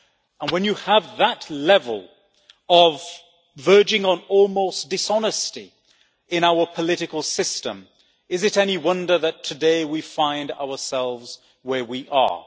And when you have that level of verging on almost dishonesty in our political system, is it any wonder that today we find ourselves where we are?